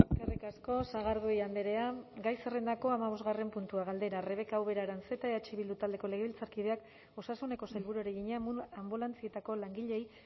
eskerrik asko sagardui andrea gai zerrendako hamabosgarren puntua galdera rebeka ubera aranzeta eh bildu taldeko legebiltzarkideak osasuneko sailburuari egina anbulantzietako langileei